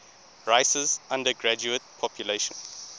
rice's undergraduate population